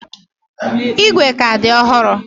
Igwe ka dị ọhụrụ.